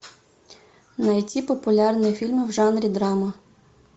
найти популярные фильмы в жанре драма